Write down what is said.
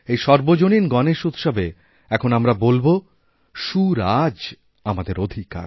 এইসর্বজনীন গনেশ উৎসবে এখন আমরা বলব সুরাজ আমাদের অধিকার